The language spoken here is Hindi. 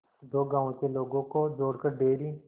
दो गांवों के लोगों को जोड़कर डेयरी